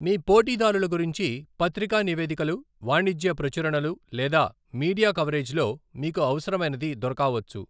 మీ పోటీదారుల గురించి పత్రికా నివేదికలు, వాణిజ్య ప్రచురణలు లేదా మీడియా కవరేజ్లో మీకు అవసరమైనది దొరకావచ్చు.